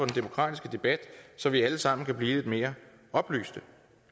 demokratiske debat så vi alle sammen kan blive lidt mere oplyste